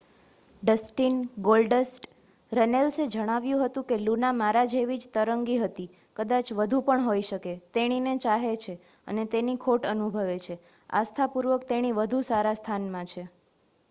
"Dustin "Goldust" રન્નેલ્સે જણાવ્યું હતું કે "લુના મારા જેવી જ તરંગી હતી.... કદાચ વધુ પણ હોઈ શકે ....તેણીને ચાહે છે અને તેની ખોટ અનુભવે છે.....આસ્થાપૂર્વક તેણી વધુ સારા સ્થાનમાં છે."